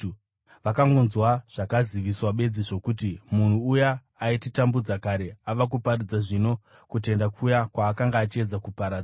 Vakangonzwa zvakaziviswa bedzi zvokuti, “Munhu uya aititambudza kare ava kuparidza zvino kutenda kuya kwaakanga achiedza kuparadza.”